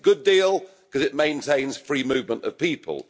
It's a good deal because it maintains free movement of people.